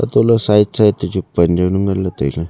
tohle side side to chu pan jau nyu ngan le taile.